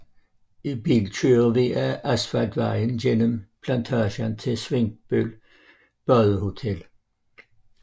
I bil kører vi ad asfaltvejen gennem plantagen til Svinkløv Badehotel